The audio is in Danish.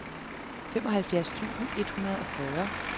femoghalvfjerds tusind et hundrede og fyrre